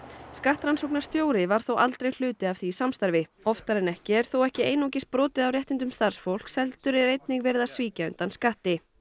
skattrannsóknarstjóri var þó aldrei hluti af því samstarfi oftar en ekki er þó ekki einungis brotið á réttindum starfsfólks heldur er einnig verið að svíkja undan skatti